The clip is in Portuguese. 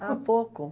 Há pouco.